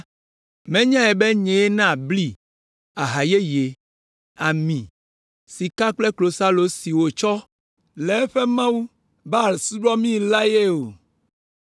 Menyae be nyee naa bli, aha yeye, ami, sika kple klosalo si wòtsɔ le eƒe mawu, Baal subɔmii la ye o.